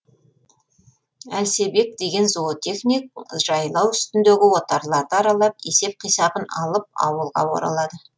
әлсебек деген зоотехник жайлау үстіндегі отарларды аралап есеп қисабын алып ауылға оралады